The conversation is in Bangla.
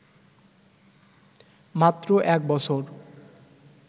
মাত্র এক বছর